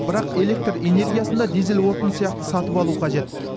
бірақ электр энергиясын да дизель отыны сияқты сатып алу қажет